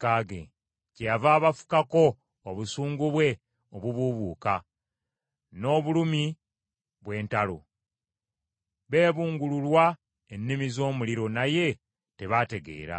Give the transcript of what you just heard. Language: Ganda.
Kyeyava abafukako obusungu bwe obubuubuuka n’obulumi bw’entalo. Beebungululwa ennimi z’omuliro naye tebaategeera.